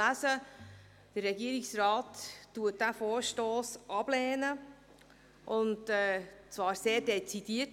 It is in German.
Der Regierungsrat lehnt den Vorstoss ab, und zwar sehr dezidiert.